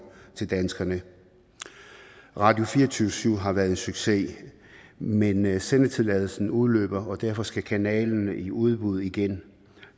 til danskerne radio24syv har været en succes men men sendetilladelsen udløber og derfor skal kanalen i udbud igen